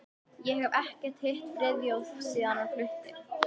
Ég hef ekkert hitt Friðþjóf síðan hann flutti.